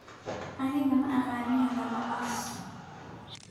Aniga maaqani hadhaladhas.